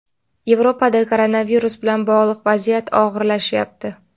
Yevropada koronavirus bilan bog‘liq vaziyat og‘irlashyapti.